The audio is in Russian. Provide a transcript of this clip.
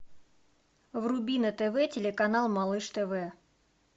вруби на тв телеканал малыш тв